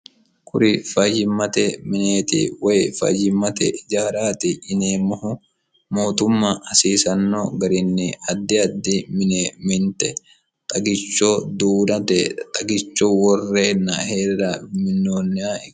kuri fayyimmate mineeti woy fayyimmate ijaaraati yineemmohu mootumma hasiisanno garinni addi addi mine minte xagicho duunate xagicho worreenna hirranni minoonniho